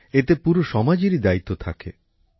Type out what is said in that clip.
এতে পুরো সমাজেরই দায়িত্ব থাকে